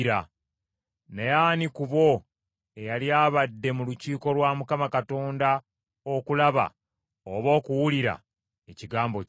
Naye ani ku bo eyali abadde mu lukiiko lwa Mukama Katonda okulaba oba okuwulira ekigambo kye?